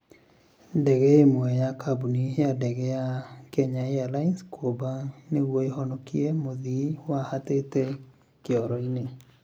Ndege ĩmwe ya kambuni ya ndege ya kenya Airlines kũmba nĩguo ĩhonokie mũthii wahatĩte kĩoro-inĩ